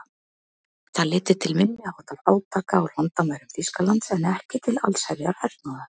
Það leiddi til minniháttar átaka á landamærum Þýskalands en ekki til allsherjar hernaðar.